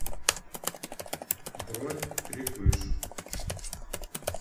бронь крепыш